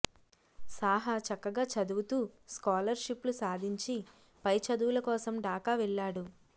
సాహా చక్కగా చదువుతూ స్కాలర్షిప్లు సాధించి పై చదవుల కోసం ఢాకా వెళ్లాడు